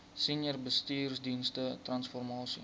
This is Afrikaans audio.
senior bestuursdienste transformasie